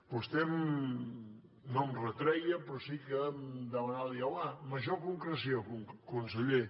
vostè no em retreia però sí que em demanava diu home major concreció conseller